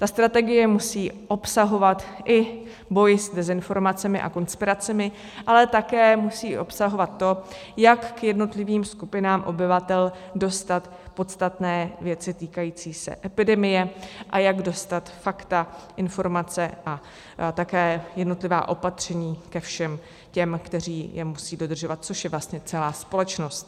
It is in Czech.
Ta strategie musí obsahovat i boj s dezinformacemi a konspiracemi, ale také musí obsahovat to, jak k jednotlivým skupinám obyvatel dostat podstatné věci týkající se epidemie a jak dostat fakta, informace a také jednotlivá opatření ke všem těm, kteří je musí dodržovat, což je vlastně celá společnost.